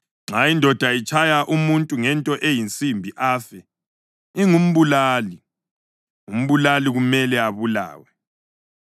Nxa indoda itshaya umuntu ngento eyinsimbi afe, ingumbulali; umbulali kumele abulawe.